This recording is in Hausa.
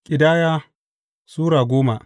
Ƙidaya Sura goma